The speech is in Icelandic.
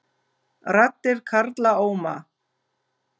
Raddir karla óma